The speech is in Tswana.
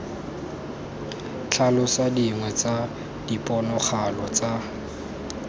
tlhalosa dingwe tsa diponagalo tsa